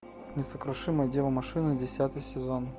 несокрушимая дева машина десятый сезон